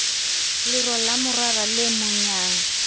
lero la morara le monyang